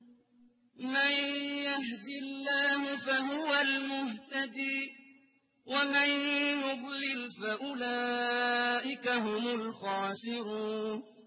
مَن يَهْدِ اللَّهُ فَهُوَ الْمُهْتَدِي ۖ وَمَن يُضْلِلْ فَأُولَٰئِكَ هُمُ الْخَاسِرُونَ